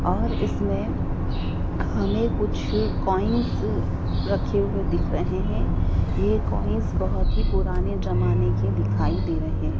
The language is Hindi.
और इसमें हमें कुछ कॉइंस रखे हुए दिख रहे हैं ये कॉइंस बहोत ही पुराने जमाने के दिखाई दे रहे--